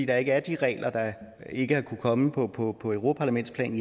der ikke er de regler der ikke har kunnet kommet på på europaparlamentsplan